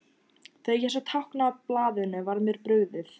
Þegar ég sá táknin á blaðinu var mér brugðið.